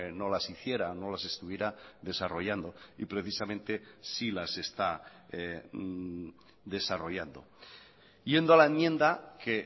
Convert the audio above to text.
no las hiciera no las estuviera desarrollando y precisamente sí las está desarrollando yendo a la enmienda que